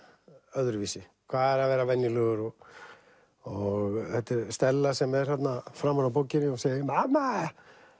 öðruvísi hvað er að vera venjulegur og og Stella sem er þarna framan á bókinni og segir mamma